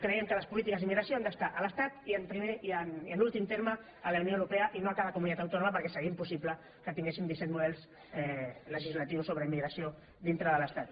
creiem que les polítiques d’immigració han d’estar a l’estat i en últim terme a la unió europea i no a cada comunitat autònoma perquè seria impossible que tinguéssim disset models legislatius sobre immigració dintre de l’estat